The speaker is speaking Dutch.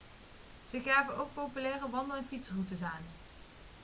ze geven ook populaire wandel en fietsroutes aan